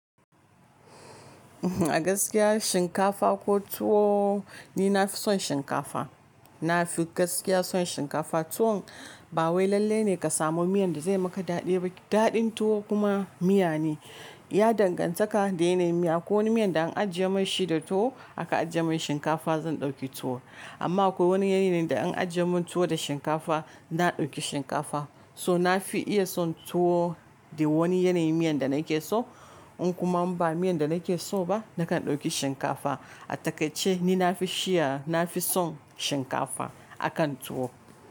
A gaskiya shinkafa ko tuwo ni nafi son shinkafa. Nafi gaskiya son shinkafa tuwon ba wai lallai ne ka samu miyan da zai maka daɗi baƙi. Daɗin tuwo kuma miya ne, ya danganta da yanayin miya. Akwa wani miyan da an ajiye mashi da tuwo aka ajiye min shinkafa zan ɗauki tuwo. Amma akwai wani yanayi ne da an ajiye min tuwo da shinkafa na ɗauki shinkafa. So nafi iya son tuwo da wani yanayin miyan da nake so in kuma ba miyan da nake so ba nakan ɗauki shinkafa. A takaice ni nafi shiya, nafi son shinkafa akan tuwo.